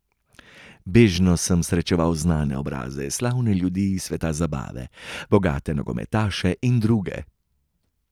Bežno sem srečeval znane obraze, slavne ljudi iz sveta zabave, bogate nogometaše in druge.